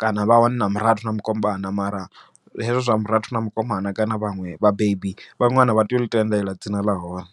kana vha hone na murathu na mukomana mara, hezwo zwa murathu na mukomana kana vhaṅwe vhabebi vha ṅwana vha tea u ḽi tendela dzina ḽa hone.